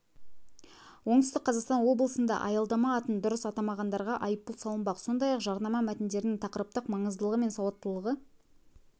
оңтүстік қазақстан облысында аялдама атын дұрыс атамағандарға айыппұл салынбақ сондай-ақ жарнама мәтіндерінің тақырыптық маңыздылығы мен сауаттылығы